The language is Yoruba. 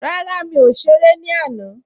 Rárá, mi ò sáré ní àná